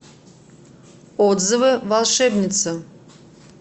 отзывы волшебница